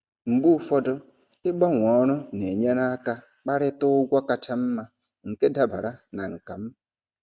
Mgbe ụfọdụ, ịgbanwee ọrụ na-enyere aka kparịta ụgwọ kacha mma nke dabara na nkà m.